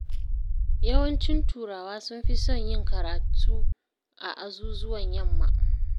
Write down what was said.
Yawancin turawa sun fi son yin karatu a azuzuwan yamma.